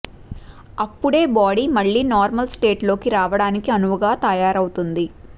అప్పుడే బాడీ మళ్ళీ normal state లోకి రావడానికి అనువుగా తయారవుతుంది